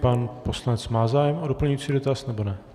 Pan poslanec má zájem o doplňující dotaz, nebo ne?